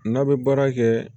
N'a bɛ baara kɛ